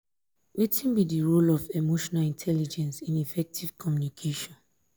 wetin be di role of emotional intelligence in in effective communication?